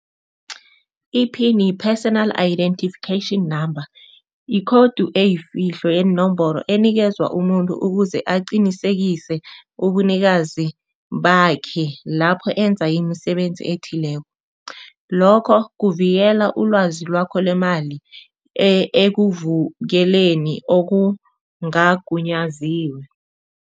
I-pin yi-personal identification number, yikhowudu eyifihlo yeenomboro enikezwa umuntu ukuze aqinisekise ubunikazi bakhe lapho enza imisebenzi ethileko, lokho kuvikela ulwazi lwakho lemali ekuvukeleni okungagunyaziwe.